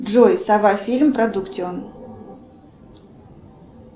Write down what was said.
джой сова фильм продуктион